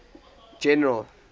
general